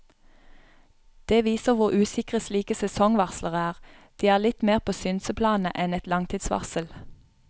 Det viser hvor usikre slike sesongvarsler er, de er litt mer på synseplanet enn et langtidsvarsel.